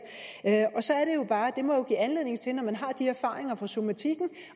og bare at det må give anledning til når man har de erfaringer fra somatikken